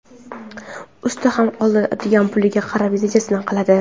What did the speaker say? Usta ham oladigan puliga qarab rejasini qiladi.